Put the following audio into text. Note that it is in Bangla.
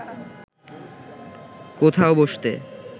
কোথাও বসতে